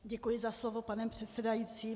Děkuji za slovo, pane předsedající.